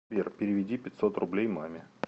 сбер переведи пятьсот рублей маме